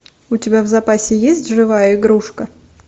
у тебя в запасе есть живая игрушка